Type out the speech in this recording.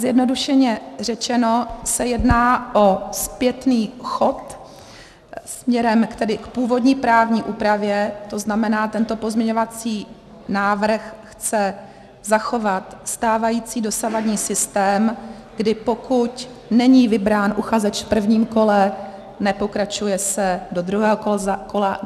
Zjednodušeně řečeno se jedná o zpětný chod směrem k původní právní úpravě, to znamená, tento pozměňovací návrh chce zachovat stávající, dosavadní systém, kdy pokud není vybrán uchazeč v prvním kole, nepokračuje se do druhého kola.